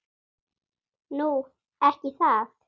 Nú. ekki það?